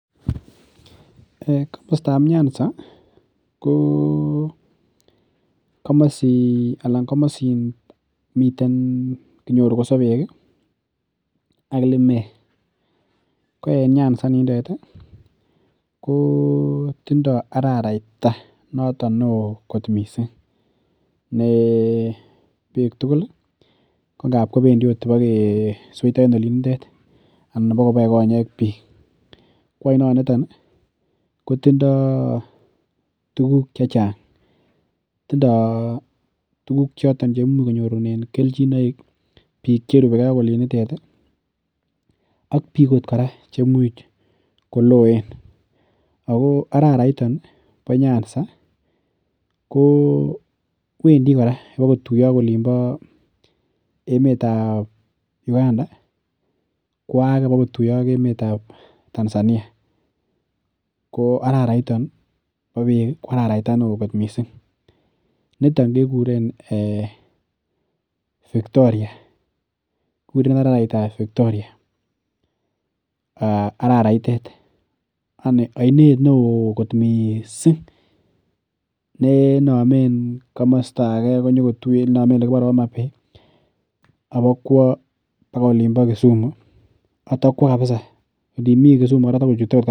Komostab Nyanza ko komosin miten, kinyoru kosobek ak limek. Ko en Nyanza inindet ko tindo araraita notok neo kot mising ne biik tugul ko ngap kobendi bokeseito en olindet anan bokoboe konyek biik. Koanonitok kotindo tuguk che chang. Tindo tuguk choton che imuch konyorunen kelchinoik biik cherubeke ak olindet ak biik ootkora chemuch koloen ago araraito bo Nyanza kwendi kora bokotuiya ak emetab Uganda kwo age bokotuya ak emetab Tanzania. Koararaito bo beek ko araraita neo kot mising. Nitok kikuren Victoria. Kiguren araraitab Victoria arararaitet, yaniainet neo kot mising ne namen komostage konyokotuya, inamen olekile Homabay, abokwa agoi olimbo Kisumu ak kotabokwa kapisa. Ndimi Kisumu kora kotakochute